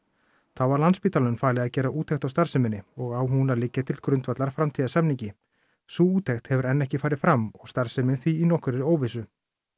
þá var Landspítalanum falið að gera úttekt á starfseminni og á hún að liggja til grundvallar framtíðarsamningi sú úttekt hefur enn ekki farið fram og starfsemin því í nokkurri óvissu